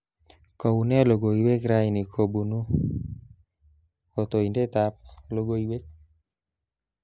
Kaunee logoiwek raini kobuni kotoindetab logoiwek